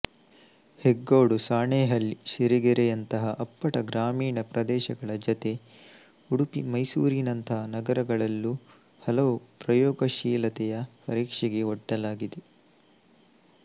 ಹೆಗ್ಗೋಡು ಸಾಣೇಹಳ್ಳಿ ಸಿರಿಗೆರೆಯಂತಹ ಅಪ್ಪಟ ಗ್ರಾಮೀಣ ಪ್ರದೇಶಗಳ ಜತೆ ಉಡುಪಿ ಮೈಸೂರಿನಂತಹ ನಗರಗಳಲ್ಲೂ ಹಲವು ಪ್ರಯೋಗಶೀಲತೆಯನ್ನು ಪರೀಕ್ಷೆಗೆ ಒಡ್ಡಲಾಗಿದೆ